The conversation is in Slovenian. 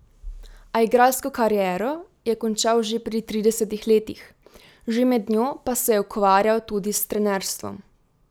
A igralsko kariero je končal že pri tridesetih letih, že med njo pa se je ukvarjal tudi s trenerstvom.